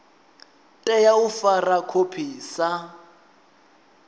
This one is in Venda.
tea u fara khophi sa